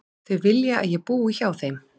Þau vilja að ég búi hjá þeim.